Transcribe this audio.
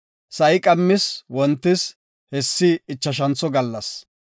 Sa7i qammis wontis; hessi ichashantho gallas.